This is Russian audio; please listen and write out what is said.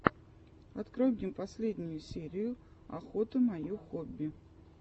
открой мне последнюю серию охота мое хобби